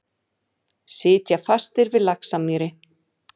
Sitja fastir við Laxamýri